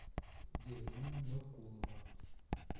елена нуркулова